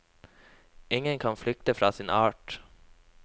Ingen kan flykte fra sin art.